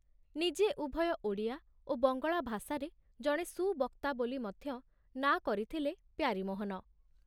ନିଜେ ଉଭୟ ଓଡ଼ିଆ ଓ ବଙ୍ଗଳା ଭାଷାରେ ଜଣେ ସୁବକ୍ତା ବୋଲି ମଧ୍ୟ ନାଁ କରିଥିଲେ ପ୍ୟାରୀମୋହନ!